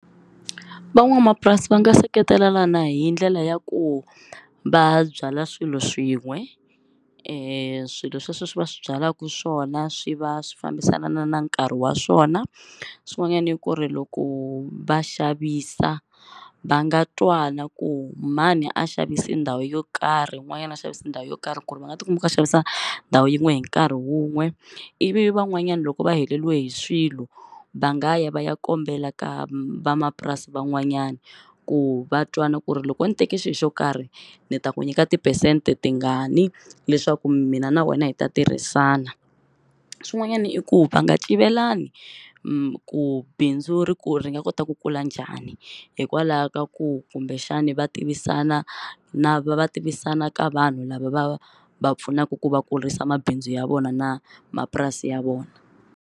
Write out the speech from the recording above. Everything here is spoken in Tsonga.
Van'wamapurasi va nga seketelana hi ndlela ya ku va byala swilo swin'we e swilo swesweswo va swi byalaku swona swi va swi fambisana na nkarhi wa swona, swin'wanyani i ku ri loko va xavisa va nga twana ku mani a xavisi ndhawu yo karhi yin'wanyana a xavisi ndhawu yo karhi ku ri va nga ti kuma va xavisa ndhawu yin'we hi nkarhi wun'we, ivi van'wanyana loko va heleriwe hi swilo va nga ya va ya kombela ka vamapurasi van'wanyana ku va twana ku ri loko ndzi teke xilo xo karhi ni ta ku nyika tiphesente tingani leswaku mina na wena hi ta tirhisana, swin'wanyana i ku va nga civelani ku bindzu ri ku ri nga kota ku kula njhani hikwalaho ka ku kumbexani va tivisana na va va tivisana ka vanhu lava va va pfunaka ku va kurisa mabindzu ya vona na mapurasi ya vona.